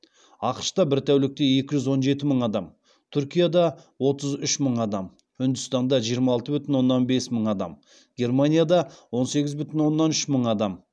ақш та бір тәулікте екі жүз он жеті мың адам түркияда отыз үш мың адам үндістанда жиырма алты бүтін оннан бес мың адам германияда он сегіз бүтін оннан үш мың адам